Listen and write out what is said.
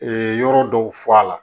yɔrɔ dɔw fɔ a la